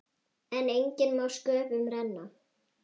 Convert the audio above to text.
En enginn má sköpum renna.